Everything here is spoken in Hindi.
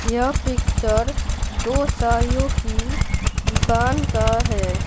यह पिक्चर दो साड़ियों की दुकान का है।